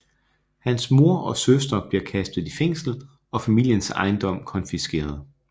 Hans mor og søster bliver kastet i fængsel og familiens ejendom konfiskeret